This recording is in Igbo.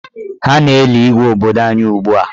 Ha na-eli Igwe obodo anyị ugbua.